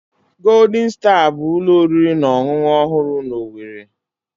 Golden Star bụ ụlọ oriri na ọṅụṅụ ọhụrụ na owerri.